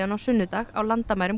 á sunnudag á landamærum